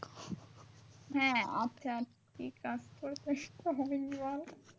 হ্যাঁ আচ্ছা